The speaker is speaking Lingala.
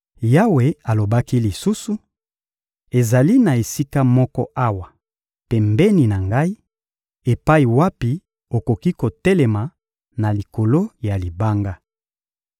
Yawe alobaki lisusu: — Ezali na esika moko awa, pembeni na Ngai, epai wapi okoki kotelema na likolo ya libanga.